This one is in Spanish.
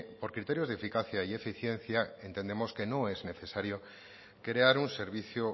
por criterios de eficacia y eficiencia entendemos que no es necesario crear un servicio